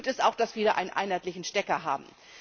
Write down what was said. Gut ist auch, dass wir einen einheitlichen Stecker haben.